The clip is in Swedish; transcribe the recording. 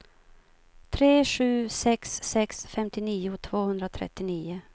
tre sju sex sex femtionio tvåhundratrettionio